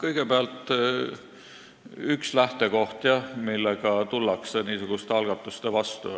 Kõigepealt üks lähtekoht, millega tullakse niisuguste algatuste vastu,